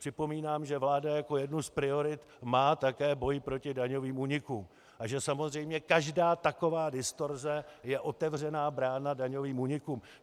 Připomínám, že vláda jako jednu z priorit má také boj proti daňovým únikům a že samozřejmě každá taková distorze je otevřená brána daňovým únikům.